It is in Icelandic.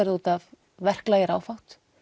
það út af verklagi er áfátt